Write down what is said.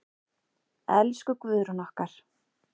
Elsku Guðrún okkar.